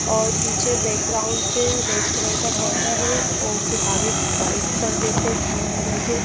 और पीछे बैकग्राउंड पे रेड कलर का पर्दा है और फिर आगे व्हाइट पर्दे पे क्रीम कलर के--